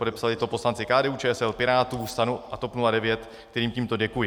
Podepsali to poslanci KDU-ČSL, Pirátů, STAN a TOP 09, kterým tímto děkuji.